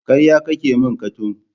Karya kake min Katung.